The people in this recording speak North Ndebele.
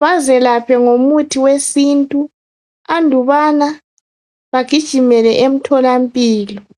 bazelaphe ngomuthi wesintu andubana bagijimele emtholampilo.